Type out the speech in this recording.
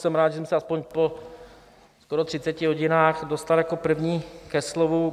Jsem rád, že jsem se aspoň po skoro 30 hodinách dostal jako první ke slovu.